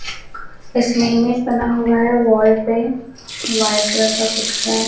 इसमें इमेज बना हुआ है वॉल पे व्हाइट कलर का कुछ है।